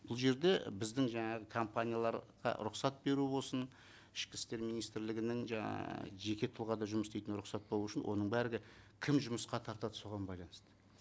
бұл жерде біздің жаңағы компанияларға рұқсат беру болсын ішкі істер министрлігінің жаңа жеке тұлғада жұмыс істейтін рұқсат болу үшін оны бәрі кім жұмысқа тартады соған байланысты